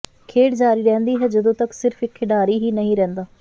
ਖੇਡ ਜਾਰੀ ਰਹਿੰਦੀ ਹੈ ਜਦੋਂ ਤੱਕ ਸਿਰਫ ਇਕ ਖਿਡਾਰੀ ਹੀ ਨਹੀਂ ਰਹਿੰਦਾ